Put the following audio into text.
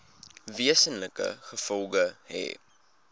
wesenlike gevolge hê